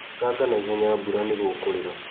Ĩkanga na ihenya mbura nĩ gũkurĩra.